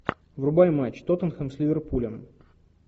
врубай матч тоттенхэм с ливерпулем